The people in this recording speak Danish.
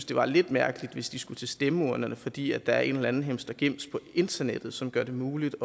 det var lidt mærkeligt hvis de skulle til stemmeurnerne fordi der er en eller anden himstregims på internettet som gør det muligt